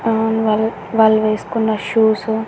అవ్న్ వాలు వాళ్ళు వేసుకున్న షూసు --